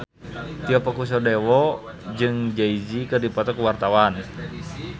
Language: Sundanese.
Tio Pakusadewo jeung Jay Z keur dipoto ku wartawan